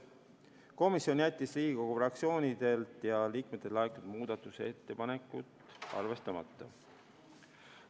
Komisjon jättis Riigikogu fraktsioonidelt ja liikmetelt laekunud muudatusettepanekud arvestamata.